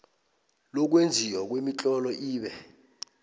lokwenziwa kwemitlolo ibe